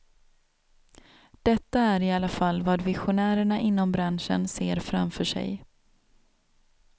Detta är i alla fall vad visionärerna inom branschen ser framför sig.